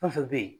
Fɛn fɛn bɛ yen